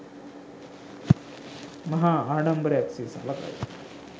මහා ආඩම්බරයක් සේ සලකයි.